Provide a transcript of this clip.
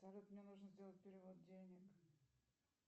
салют мне нужно сделать перевод денег